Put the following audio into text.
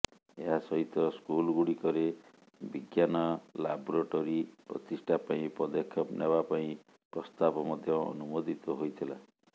ଏହା ସହିତ ସ୍କୁଲଗୁଡ଼ିକରେ ବିଜ୍ଞାନ ଲାବ୍ରୋଟରୀ ପ୍ରତିଷ୍ଠା ପାଇଁ ପଦକ୍ଷେପ ନେବା ପାଇଁ ପ୍ରସ୍ତାବ ମଧ୍ୟ ଅନୁମୋଦିତ ହୋଇଥିଲା